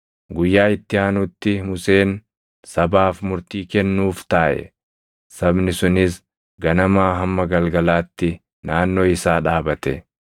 Guyyaa itti aanutti Museen sabaaf murtii kennuuf taaʼe; sabni sunis ganamaa hamma galgalaatti naannoo isaa dhaabate.